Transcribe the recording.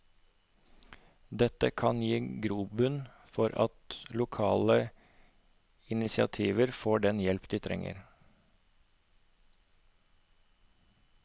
Dette kan gi grobunn for at lokale initiativer får den hjelp de trenger.